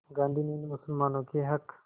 गांधी ने इन मुसलमानों के हक़